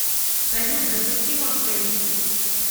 салют запусти мой плейлист